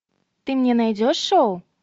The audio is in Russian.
ты мне найдешь шоу